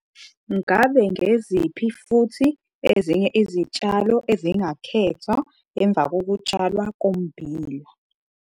Ngabe ngeziphi futhi ezinye izitshalo ezingakhethwa emvakokutshalwa kommbila?